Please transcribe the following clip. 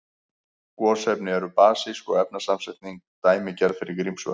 Gosefni eru basísk og efnasamsetningin dæmigerð fyrir Grímsvötn.